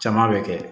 Caman bɛ kɛ